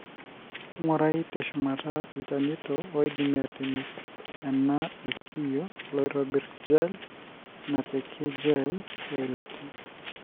ingurai teshumata ilchanoto oidimi atimir ena ilkio loitobiri, gel napiki, gel, weilata.